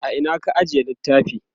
a Ina ka ajiye littafi?